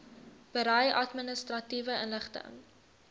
berei administratiewe inligting